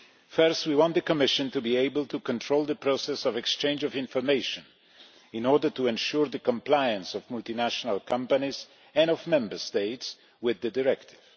Firstly, we want the Commission to be able to control the process of exchange of information in order to ensure the compliance of multinational companies and of Member States with the directive.